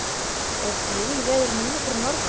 er grillveður núna fyrir norðan